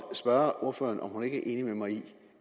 spørge ordføreren om hun ikke er enig med mig i